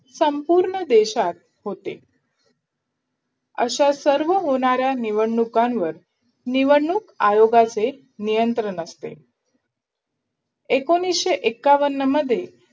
संपूर्ण देशात होते अशा सर्व होणाऱ्या निवडणुकांवर निवडणूक आयोगाचे नियंत्रण असते एकोणनीसे एकावन्न मध्ये